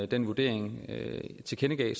den vurdering tilkendegav